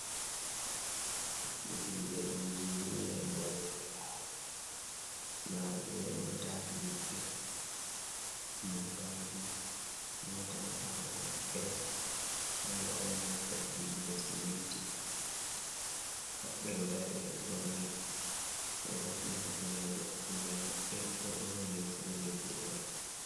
Himɓe injinia'en waɗoɓe lawol nda ɓe be motaji maɓɓe. motaji motawa ɓawo maɓɓe ɗo kanga on mota jiiɓugo siminti, ɓe pat ɓe ɗo dari ɓeɗo ɓorni ɓeɗo hufni hufneje kugal maɓɓe ɓeɗo borni limse bo jei kuuɗe maɓɓe.